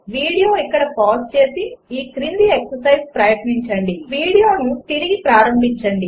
video ఇక్కడ pause చేసి ఈ క్రింది ఎక్సర్సైజ్ ప్రయత్నించి వీడియోను పునఃప్రారంభించండి